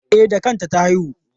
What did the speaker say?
E, da kanta ta haihu.